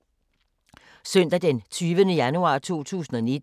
Søndag d. 20. januar 2019